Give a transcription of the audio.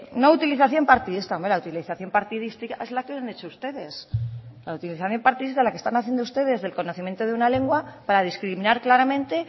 no utilización partidista hombre la utilización partidista es la que han hecho ustedes la utilización partidista la que están haciendo ustedes del conocimiento de una lengua para discriminar claramente